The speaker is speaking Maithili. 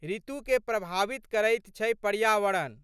ऋतुकेँ प्रभावित करैत छै पर्यावरण।